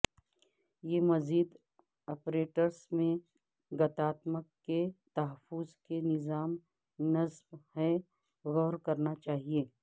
یہ مزید اپریٹس میں گتاتمک کے تحفظ کے نظام نصب ہے غور کرنا چاہیے